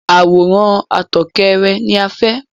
Àwòrán àtòkèèrè ni a fẹ́.